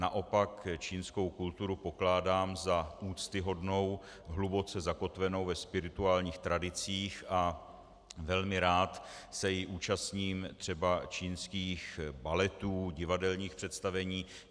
Naopak čínskou kulturu pokládám za úctyhodnou, hluboce zakotvenou ve spirituálních tradicích a velmi rád se i účastním třeba čínských baletů, divadelních představení.